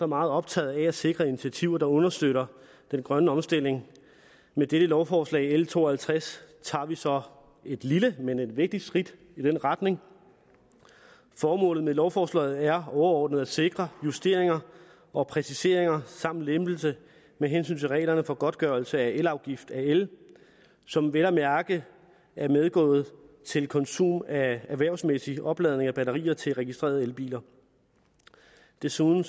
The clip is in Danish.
meget optaget af at sikre initiativer der understøtter den grønne omstilling med dette lovforslag l to og halvtreds tager vi så et lille men vigtigt skridt i den retning formålet med lovforslaget er overordnet at sikre justeringer og præciseringer samt lempelse med hensyn til reglerne for godtgørelse af elafgift af el som vel at mærke er medgået til konsum af erhvervsmæssig opladning af batterier til registrerede elbiler desuden